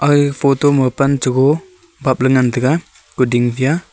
aga photo ma pan chogo papley ngan taiga kuding phai a.